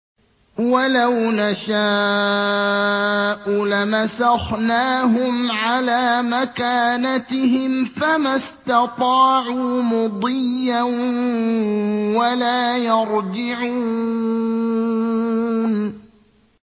وَلَوْ نَشَاءُ لَمَسَخْنَاهُمْ عَلَىٰ مَكَانَتِهِمْ فَمَا اسْتَطَاعُوا مُضِيًّا وَلَا يَرْجِعُونَ